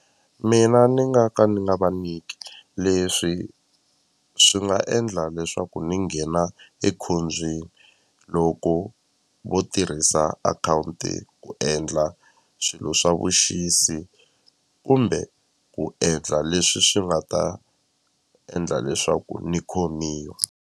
Mina ni nga ka ni nga va niki leswi swi nga endla leswaku ni nghena ekhombyeni loko vo tirhisa akhawunti ku endla swilo swa vuxisi kumbe ku endla leswi swi nga ta endla leswaku ni khomiwa.